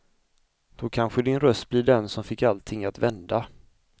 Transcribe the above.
Då kanske din röst blir den som fick allting att vända.